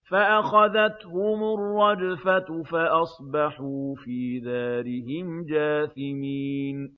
فَأَخَذَتْهُمُ الرَّجْفَةُ فَأَصْبَحُوا فِي دَارِهِمْ جَاثِمِينَ